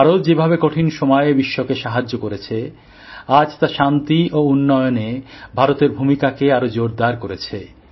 ভারত যেভাবে কঠিন সময়ে বিশ্বকে সাহায্য করেছে আজ তা শান্তি ও উন্নয়নে ভারতের ভূমিকাকে আরও জোরদার করেছে